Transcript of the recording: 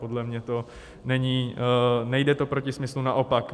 Podle mě to nejde proti smyslu, naopak.